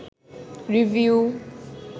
review